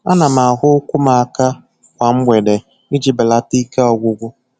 Ana m ahụ ụkwụ m aka kwa mgbede iji belata ike ọgwụgwụ.